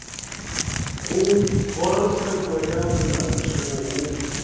go kgorotsheko ya molaotheo go